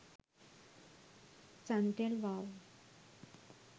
suntel wow